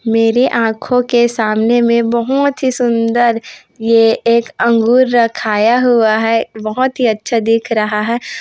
मेरे आंखो के सामने मे बहोतं ही सुंदर ये एक अंगूर रखाया हुआ है बहोतं ही अच्छा दिख रहा है।